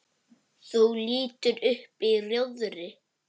Þú lítur upp í rjóðri.